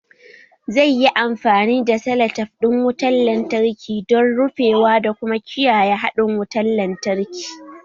Zai yi amfani da selatef ɗin wutar lantarki don rufewa da kuma kiyaye haɗin wutar lantarki